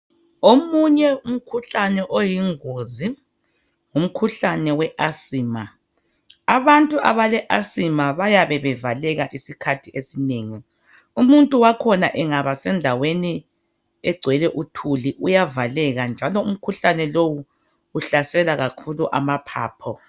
Omunye umkhuhlane oyingozi yimkhuhlane weasima. Abantu abaleasima bayabe bevaleka iskhathi esinengi. Umuntu wakhona angaba sendaweni engwele uthuli uyavaleka, njalo umkhuhlane lo usahlela kakhulu amaphaphu.